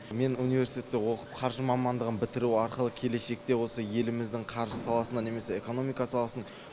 мен университетте оқып қаржы мамандығын бітіру арқылы келешекте осы еліміздің қаржы саласына немесе экономика саласының